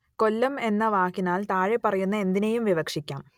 കൊല്ലം എന്ന വാക്കിനാൽ താഴെപ്പറയുന്ന എന്തിനേയും വിവക്ഷിക്കാം